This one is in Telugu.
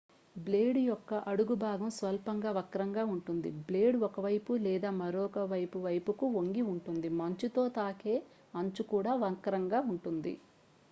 బ్లేడ్ యొక్క అడుగు భాగం స్వల్పంగా వక్రంగా ఉంటుంది బ్లేడ్ ఒకవైపులేదా మరోవైపువైపుకు వంగిఉంటుంది మంచుతో తాకే అంచు కూడా వక్రంగా ఉంటుంది